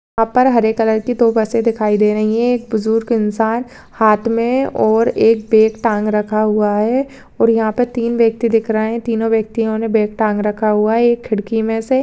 यहाँ पर हरे कलर की दो बसे दिखाई दे रही हैं एक बुजुर्ग इंसान हाथ में और एक बैग टांग रखा हुआ है और यहाँ पर तीन व्यक्ति दिख रहे हैं तीनो व्यक्तियों ने बैग टांग रखा हुआ है एक खिड़की में से --